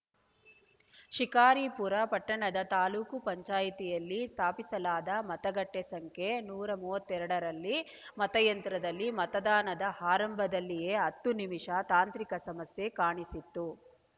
ಶಿಕಾರಿಪುರ ಪಟ್ಟಣದ ತಾಲೂಕು ಪಂಚಾಯಿತಿಯಲ್ಲಿ ಸ್ಥಾಪಿಸಲಾದ ಮತಗಟ್ಟೆಸಂಖ್ಯೆ ನೂರ ಮೂವತ್ತೆರಡರಲ್ಲಿ ಮತಯಂತ್ರದಲ್ಲಿ ಮತದಾನದ ಆರಂಭದಲ್ಲಿಯೇ ಹತ್ತು ನಿಮಿಷ ತಾಂತ್ರಿಕ ಸಮಸ್ಯೆ ಕಾಣಿಸಿತ್ತು